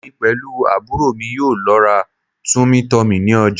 Èmi pẹ̀lú àbúrò mi yóò lọ ra Tummy tummy ní ọjà